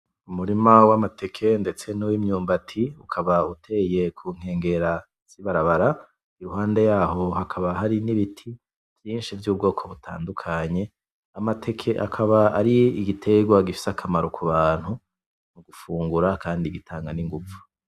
Umurima w'amateka ndetse nuw'imyumbati ukaba uteye kunkengera z'ibarabara iruhande yaho hakaba hari n'ibiti vyinshi vy'ubwoko butadukanye, amateka akaba ar'igitengwa gifise akamara k'ubantu mugufungura kandi gitanga n'inguvu.